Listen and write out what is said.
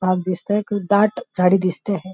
भाग दिसतोय दाट झाडी दिसते आहे.